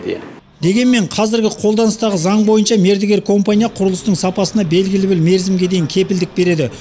дегенмен қазіргі қолданыстағы заң бойынша мердігер компания құрылыстың сапасына белгілі бір мерзімге дейін кепілдік береді